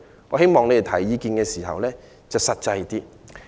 我希望他們提出意見時要實際一點。